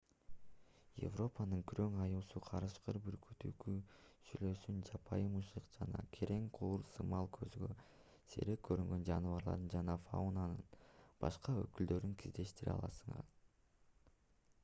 европанын күрөң аюусу карышкыр бүркүт үкү сүлөөсүн жапайы мышык жана керең кур сымал көзгө сейрек көрүнгөн жаныбарларды жана фаунанын башка өкүлдөрүн кездештире аласыз